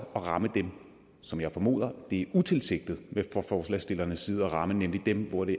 at ramme dem som jeg formoder det er utilsigtet fra forslagsstillernes side at ville ramme nemlig dem hvor det